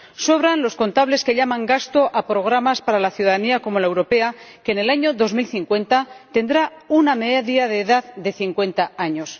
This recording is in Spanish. Sobran los contables que llaman gasto a programas para una ciudadanía como la europea, que en el año 2050 tendrá una media de edad de 50 años.